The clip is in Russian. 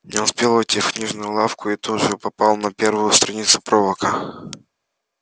не успел войти в книжную лавку и тут же попал на первую страницу пророка